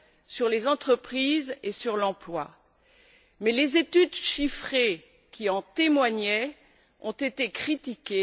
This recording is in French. sur les entreprises et sur l'emploi. Mais les études chiffrées qui en témoignaient ont été critiquées.